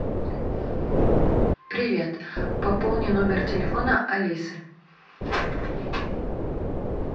привет пополни номер телефона алисы